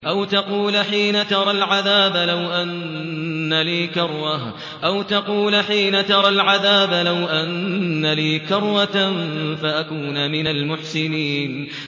أَوْ تَقُولَ حِينَ تَرَى الْعَذَابَ لَوْ أَنَّ لِي كَرَّةً فَأَكُونَ مِنَ الْمُحْسِنِينَ